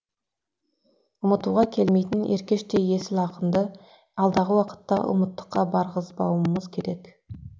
ұмытуға келмейтін еркештей есіл ақынды алдағы уақытта ұмыттыққа барғызбауымыз керек